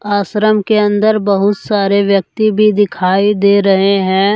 आश्रम के अंदर बहुत सारे व्यक्ति भी दिखाई दे रहे हैं।